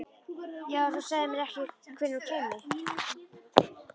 Já, en þú sagðir mér ekkert hvenær hún kæmi.